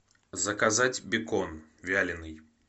заказать бекон вяленый